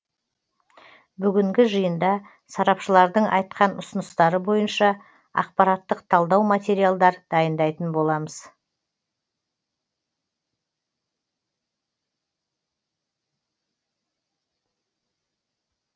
бүгінгі жиында сарапшылардың айтқан ұсыныстары бойынша ақпараттық талдау материалдар дайындайтын боламыз